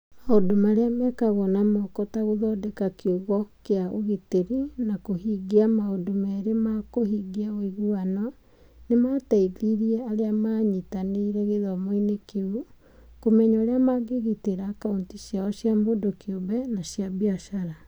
Maũndũ marĩa mekagwo na moko ta gũthondeka kiugo kĩa ũgitĩri na kũhingia maũndũ merĩ ma kũhingia ũiguano nĩ maateithirie arĩa maanyitanĩire gĩthomo-inĩ kĩu kũmenya ũrĩa mangĩgitĩra akaunti ciao cia mũndũ kĩũmbe na cia biacara.